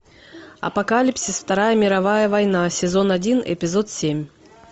апокалипсис вторая мировая война сезон один эпизод семь